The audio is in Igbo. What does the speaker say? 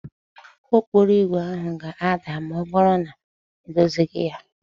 Ụgbọ okporo ígwè ahụ ga-ada ma ọ bụrụ na edozighị ya